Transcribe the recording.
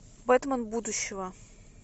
бэтмен будущего